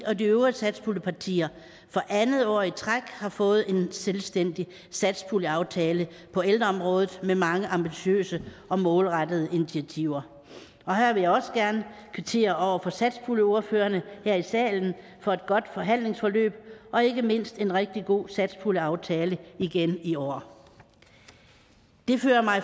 og de øvrige satspuljepartier for andet år i træk har fået en selvstændig satspuljeaftale på ældreområdet med mange ambitiøse og målrettede initiativer og her vil jeg også gerne kvittere over for satspuljeordførerne her i salen for et godt forhandlingsforløb og ikke mindst en rigtig god satspuljeaftale igen i år det fører mig